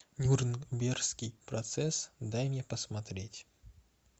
нюрнбергский процесс дай мне посмотреть